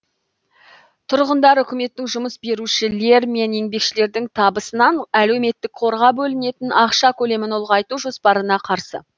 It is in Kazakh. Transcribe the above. тұрғындар үкіметтің жұмыс берушілер мен еңбекшілердің табысынан әлеуметтік қорға бөлінетін ақша көлемін ұлғайту жоспарына қарсы